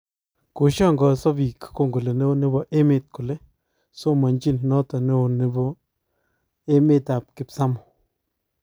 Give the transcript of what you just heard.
Koshangaanso bik kongole neo nebo emet kole somandchin notok neo nebo emet ap kipsamoo